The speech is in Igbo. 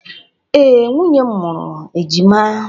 Ee, nwunye m mụrụ ejima.